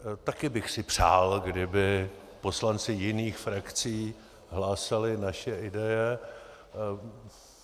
Také bych si přál, kdyby poslanci jiných frakcí hlásali naše ideje.